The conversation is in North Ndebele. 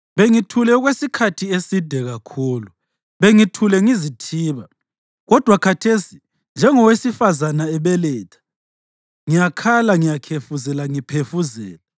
“Bengithule okwesikhathi eside kakhulu, bengithule ngizithiba. Kodwa khathesi, njengowesifazane ebeletha, ngiyakhala, ngiyakhefuzela ngiphefuzela.